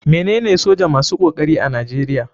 Me nene soja masu kokari a nigeria.